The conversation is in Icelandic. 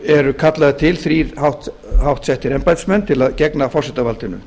eru kallaðir til þrír háttsettir embættismenn til að gegna forsetavaldinu